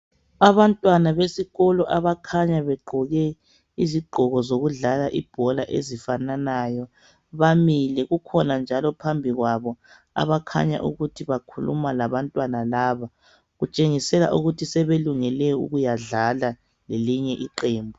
Abantwana besikolo abakhanya begqoke izigqoko zokudlala ibhola ezifananayo bamile kukhona njalo phambi kwabo abakhanya ukuthi bakhuluma labo kutshengisela ukuthi sebelungele dlala lelinye iqembu.